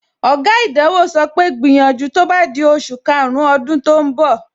Oga ìdánwò sọ pé, gbìyànjú tó bá di oṣù karùn-ún ọdún tó ń bọ̀!